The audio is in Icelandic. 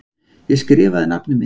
Ég skrifaði nafnið mitt.